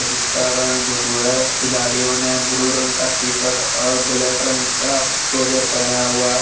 जिसका रंग ब्लू हैं खिलाड़ियों ने ब्लू रंग का टी_शर्ट और ब्लैक रंग का ट्राउजर पहना हुआ हैं।